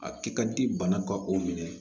A kɛ ka di bana ka o minɛ